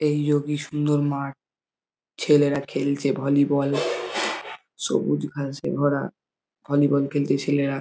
এই যো কি সুন্দর মাঠ। ছেলেরা খেলছে ভলিবল। সবুজ ঘাসে ভরা। ভলিবল খেলছে ছেলেরা।